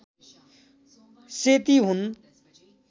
सेती हुन्